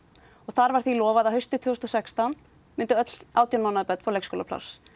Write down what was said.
þar var því lofað að haustið tvö þúsund og sextán myndu öll átján mánaða börn fá leikskólapláss